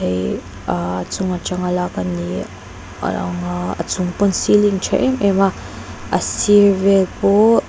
ihh ahh chunga tanga lak a ni a lang a a chung pawn ceiling tha em em a a sir vel pawh--